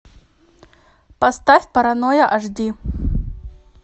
поставь паранойя аш ди